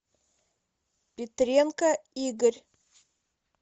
петренко игорь